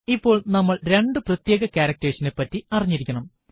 ഇപ്പോൾ നമ്മൾ രണ്ടു പ്രത്യേക ക്യാരക്ടർസ് നെ പറ്റി അറിഞ്ഞിരിക്കണം